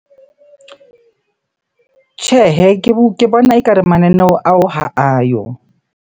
Tjhehe, Ke bona ekare mananeo ao ha ayo.